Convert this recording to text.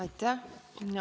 Aitäh!